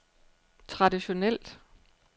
traditionelt